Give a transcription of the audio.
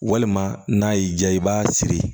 Walima n'a y'i diya i b'a siri